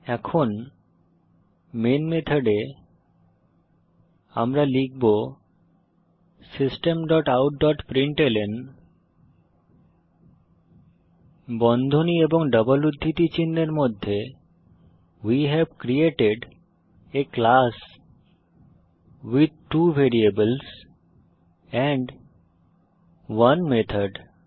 এখন মেন মেথডে আমরা লিখব system dot out dot println বন্ধনী ও ডবল উদ্ধৃতি চিনহের মধ্যে we have created a class with two variables and 1 method